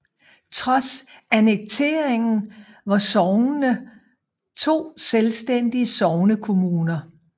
Trods annekteringen var sognene to selvstændige sognekommuner